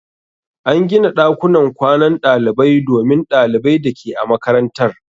An gina ɗakunan kwanan dalibai domin ɗalibai da ke a makarantar.